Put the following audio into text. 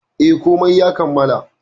Eh, komai ya kammala.